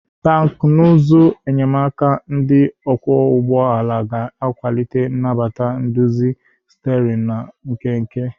Teknụzụ enyemaka ndị ọkwọ ụgbọ ala ga akwalite nnabata nduzi sterin na nkenke.